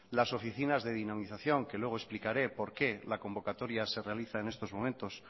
las oficinas de dinamización que luego explicaré por qué la convocatoria se realiza en estos momentos